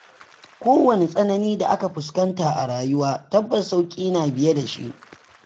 Ko wani tsanani da aka fuskanta a rayuwa, tabbas sauƙi na biye da shi.